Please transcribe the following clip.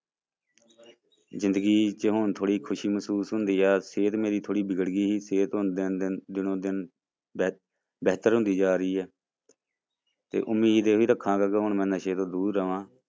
ਜ਼ਿੰਦਗੀ ਚ ਹੁਣ ਥੋੜ੍ਹੀ ਖ਼ੁਸ਼ੀ ਮਹਿਸੂਸ ਹੁੰਦੀ ਹੈ, ਸਿਹਤ ਮੇਰੀ ਥੋੜ੍ਹੀ ਵਿਗੜ ਗਈ ਸੀ ਸਿਹਤ ਹੁਣ ਦਿਨ ਦਿਨ, ਦਿਨੋਂ-ਦਿਨ ਬਿਹ ਬਿਹਤਰ ਹੁੰਦੀ ਜਾ ਰਹੀ ਹੈ ਤੇ ਉਮੀਦ ਇਹੀ ਰੱਖਾਂਗਾ ਕਿ ਹੁਣ ਮੈਂ ਨਸੇ ਤੋਂ ਦੂਰ ਰਵਾਂ।